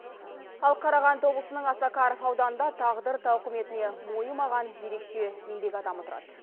ал қарағанды облысының осакаров ауданында тағдыр тауқыметіне мойымаған ерекше еңбек адамы тұрады